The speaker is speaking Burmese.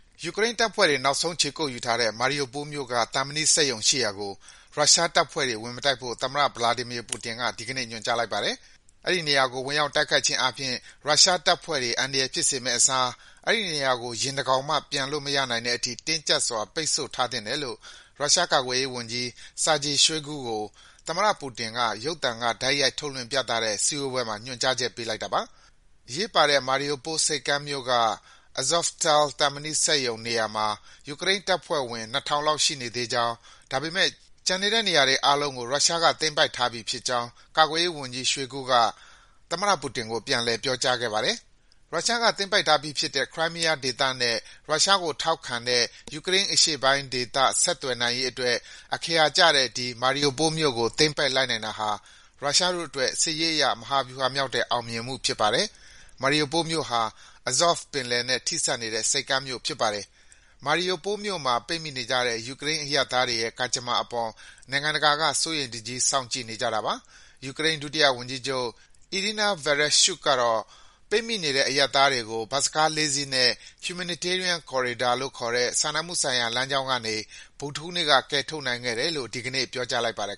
ယူကရိန်းတပ်ဖွဲ့တွေ နောက်ဆုံးခြေကုတ်ယူထားတဲ့ Mariupol မြို့က သံမဏိစက်ရုံရှိရာကို ရုရှားတပ်ဖွဲ့တွေ ဝင်မတိုက်ဖို့ သမ္မတ Vladimir Putin က ဒီကနေ့ ညွန်ကြားလိုက်ပါတယ်။ အဲဒီနေရာကို ဝင်ရောက်တိုက်ခိုက်ခြင်းအားဖြင့် ရုရှားတပ်ဖွဲ့တွေ အန္တရာယ်ဖြစ်စေမယ့်အစား အဲဒီနေရာကို ယင်တကောင်မှ ပျံလို့မရနိုင်တဲ့အထိ တင်းကြပ်စွာ ပိတ် ဆို့ ထားသင့်တယ်လို့ ရုရှားကာကွယ်ရေးဝန်ကြီး Sergei Shoigu ကို သမ္မတပူတင်က ရုပ်သံက တိုက်ရိုက်ထုတ်လွှင့်ပြသတဲ့ စည်းဝေးပွဲမှာ ညွန်ကြားချက် ပေးလိုက်တာပါ။ အရေးပါတဲ့ Mariupol ဆိပ်ကမ်းမြို့က Azovstal သံမဏိစက်ရုံနေရာမှာ ယူကရိန်းတပ်ဖွဲ့ဝင် ၂,၀၀၀ လောက် ရှိနေသေးကြောင်း၊ ဒါပေမယ့် ကျန်တဲ့နေရာတွေအားလုံးကို ရုရှားက သိမ်းပိုက်ထားပြီးဖြစ်ကြောင်း ကာကွယ်ရေးဝန်ကြီး Shoigu က သမ္မတပူတင်ကို ပြန်လည် ပြောကြားခဲ့ပါတယ်။ ရုရှားက သိမ်းပိုက်ထားပြီးဖြစ်တဲ့ Crimea ဒေသနဲ့ ရုရှားကို ထောက်ခံတဲ့ ယူကရိန်းအရှေ့ပိုင်းဒေသ ဆက်သွယ်နိုင်ရေးအတွက် အခရာကျတဲ့ ဒီ Mariupol မြို့ကို သိမ်းပိုက်လိုက်နိုင်တာဟာ ရုရှားတို့အတွက် စစ်ရေးအရ မဟာဗြူဟာမြောက်တဲ့ အောင်မြင်မှုဖြစ်ပါတယ်။ Mariupol မြို့ဟာ Azov ပင်လယ်နဲ့ ထိစပ်နေတဲ့ ဆိပ်ကမ်းမြို့ဖြစ်ပါတယ်။ Mariupol မြို့မှာ ပိတ်မိနေကြတဲ့ ယူကရိန်း အရပ်သားတွေရဲ့ ကံကြမ္မာအပေါ် နိုင် ငံတကာက စိုးရိမ်တကြီး စောင့်ကြည့်နေကြတာပါ။ ယူကရိန်း ဒုတိယဝန်ကြီးချုပ် Iryna Vereshchuk ကတော့ ပိတ်မိနေတဲ့ အရပ်သားတွေကို ဘတ်စ်ကား ၄ စီးနဲ့ Humanitarian corridor လို့ခေါ်တဲ့ စာနာမှုဆိုင်ရာ လမ်းကြောင်းကနေ ဗုဒ္ဓဟူးနေ့က ကယ်ထုတ်နိုင်ခဲ့တယ်လို့ ဒီကနေ့ ပြောကြားလိုက်ပါတယ်